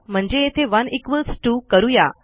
म्हणजे येथे 1 इक्वॉल्स 2करू या